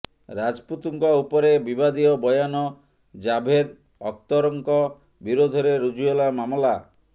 ରାଜପୁତଙ୍କ ଉପରେ ବିବାଦୀୟ ବୟାନ ଜାଭେଦ୍ ଅଖତର୍ଙ୍କ ବିରୋଧରେ ରୁଜୁ ହେଲା ମାମଲା